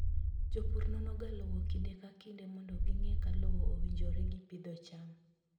Jopur nonoga lowo kinde ka kinde mondo ging'e ka lowo owinjore gi pidho cham.